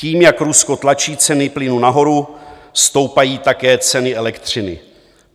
Tím, jak Rusko tlačí ceny plynu nahoru, stoupají také ceny elektřiny.